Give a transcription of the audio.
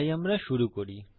তাই আমরা শুরু করি